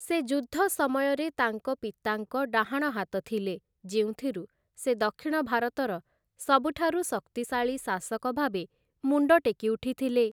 ସେ ଯୁଦ୍ଧ ସମୟରେ ତାଙ୍କ ପିତାଙ୍କ ଡାହାଣ ହାତ ଥିଲେ ଯେଉଁଥିରୁ ସେ ଦକ୍ଷିଣ ଭାରତର ସବୁଠାରୁ ଶକ୍ତିଶାଳୀ ଶାସକ ଭାବେ ମୁଣ୍ଡ ଟେକି ଉଠିଥିଲେ ।